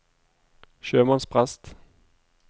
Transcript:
sjømannsprest